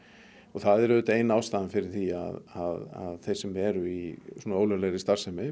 það er auðvitað ein ástæðan fyrir því að þeir sem eru í svona ólöglegri starfsemi